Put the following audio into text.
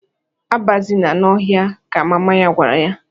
"Abazina n'ọhịa!" ka mama ya gwara ya.